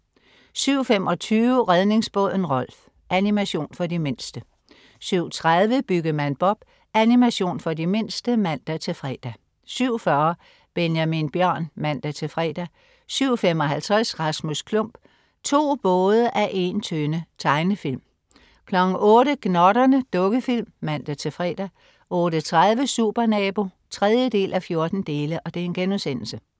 07.25 Redningsbåden Rolf. Animation for de mindste 07.30 Byggemand Bob. Animation for de mindste (man-fre) 07.40 Benjamin Bjørn (man-fre) 07.55 Rasmus Klump. To både af en tønde. Tegnefilm 08.00 Gnotterne. Dukkefilm (man-fre) 08.30 Supernabo 3:14*